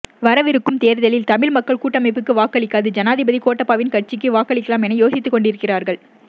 வரவிருக்கும் தேர்தலில் தமிழ் மக்கள் கூட்டமைப்புக்கு வாக்களிக்காது ஜனாதிபதி கோட்டபாயவின் கட்சிக்கு வாக்களிக்கலாம் என யோசித்துக் கொண்டிருக்கிறார்கள்